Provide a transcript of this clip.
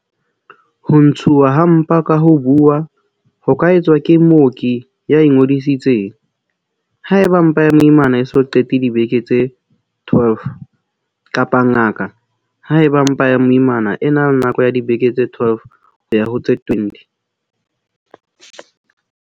Ho ntshuwa ha mpa ka ho buuwa ho ka etswa ke mooki ya ingodisitseng, haeba mpa ya moimana e so qete dibeke tse 12, kapa ngaka, haeba mpa ya moimana e na le nako ya dibeke tse 12 ho ya ho tse 20.